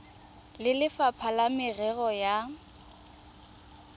le lefapha la merero ya